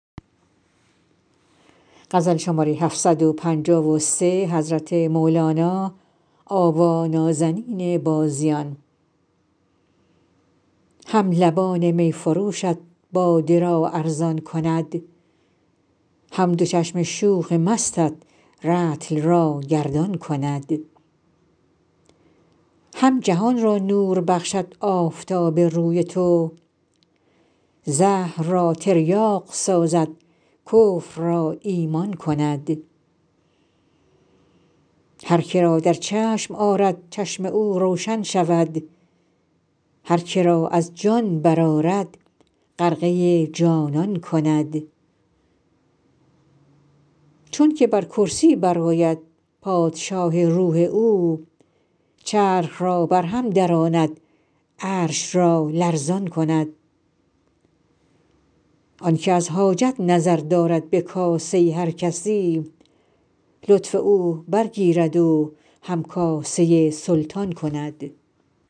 هم لبان می فروشت باده را ارزان کند هم دو چشم شوخ مستت رطل را گردان کند هم جهان را نور بخشد آفتاب روی تو زهر را تریاق سازد کفر را ایمان کند هر که را در چشم آرد چشم او روشن شود هر که را از جان برآرد غرقه جانان کند چونک بر کرسی برآید پادشاه روح او چرخ را برهم دراند عرش را لرزان کند آنک از حاجت نظر دارد به کاسه هر کسی لطف او برگیرد و همکاسه سلطان کند